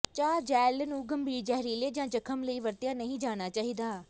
ਕੱਚਾ ਜੈੱਲ ਨੂੰ ਗੰਭੀਰ ਜ਼ਹਿਰੀਲੇ ਜਾਂ ਜ਼ਖ਼ਮ ਲਈ ਵਰਤਿਆ ਨਹੀਂ ਜਾਣਾ ਚਾਹੀਦਾ